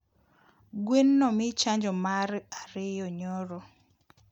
Gwen nomii chanjo mar ariyo nyoro